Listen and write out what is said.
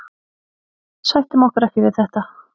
Sættum okkur ekki við þetta